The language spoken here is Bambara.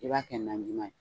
I b'a kɛ najima ye